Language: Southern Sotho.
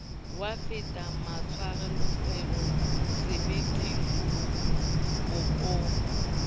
wa fetela matshwafong sebeteng bokong